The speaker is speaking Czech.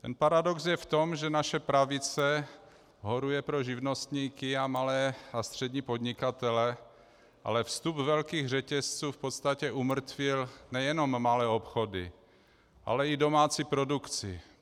Ten paradox je v tom, že naše pravice horuje pro živnostníky a malé a střední podnikatele, ale vstup velkých řetězců v podstatě umrtvil nejenom malé obchody, ale i domácí produkci.